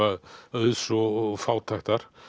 auðs og fátæktar